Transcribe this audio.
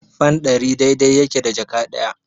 Fan ɗari dai-dai yake da jaka ɗaya.